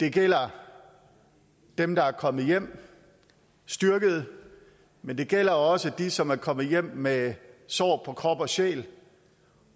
det gælder dem der er kommet hjem styrkede men det gælder også dem som er kommet hjem med sår på krop og sjæl